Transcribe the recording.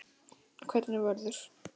Hvernig verður?